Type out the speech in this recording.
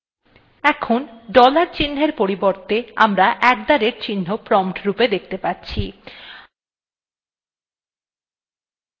এখন dollar চিহ্নর পরিবর্তে আমরা at the rate চিহ্ন prompt রূপে দেখতে পাচ্ছি